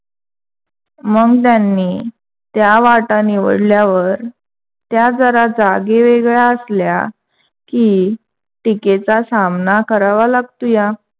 मग त्यांनी त्या वाटा निवडल्यावर त्या जरा जागेवेगळ्या असल्या की टीकेचा सामना करावा लागतोया.